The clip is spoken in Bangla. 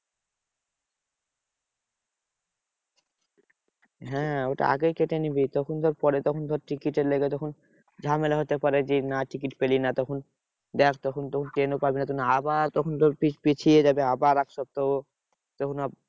হ্যাঁ ওটা আগে কেটে নিবি। তখন ধর পরে তখন ধর টিকিটের লাইগা তখন ঝামেলা হতে পারে। যে না টিকিট পেলি না তখন ব্যাস তখন তো ট্রেন ও পাবি না আবার তখন তোর পি~ পিছিয়ে যাবে। আবার এক সপ্তাহ তখন